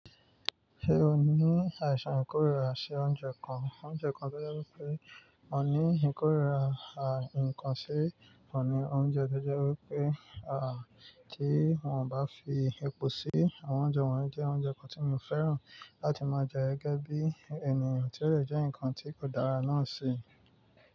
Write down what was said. Ṣe o ni àìsàn ìkórìíra sí oúnjẹ kan? Oúnjẹ kan to jẹ́ wipé mo ní ìkórìíra nkan sí ohun ni oúnjẹ, to jẹ́ wípé à tí wọn o bá fi epo sí àwọn oúnjẹ wọ́n jẹ́ oúnjẹ kan tí mò fẹ́ràn láti máa jẹ ẹ́ gẹ́gẹ́ bí ènìyàn tí ó dẹ jẹ́ ǹkan tí kò dára náà si.